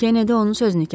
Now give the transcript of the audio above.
Kenedi onun sözünü kəsdi.